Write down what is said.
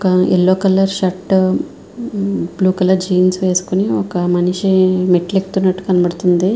ఒక yellow colour shirt blue colour jeans వేసుకొని ఒక మనిషి మెట్లు ఎక్కుతున్నట్టు కనబడుతూ వుంది.